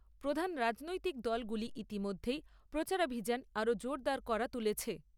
প্রধান রাজনৈতিক দলগুলি ইতিমধ্যেই প্রচারাভিযান আরো জোরদার করে তুলেছে।